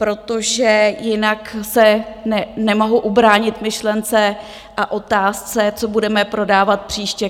Protože jinak se nemohu ubránit myšlence a otázce, co budeme prodávat příště.